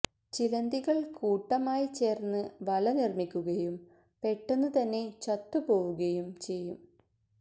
ചിലന്തികള് കൂട്ടമായി ചേര്ന്ന് വല നിര്മ്മിക്കുകയും പെട്ടെന്നു തന്നെ ചത്തുപോവുകയും ചെയ്യും